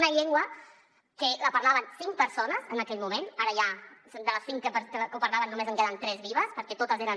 una llengua que la parlaven cinc persones en aquell moment ara ja de les cinc que la parlaven només en queden tres de vives perquè totes eren